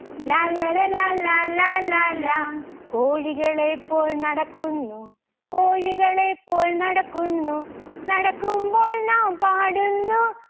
ലാല്ലല ലാലാ ലാലാ ലാ. കോഴികളെ പോൽ നടക്കുന്നു കോഴികളെ പോൽ നടക്കുന്നു. നടക്കുമ്പോൾ നാം പാടുന്നു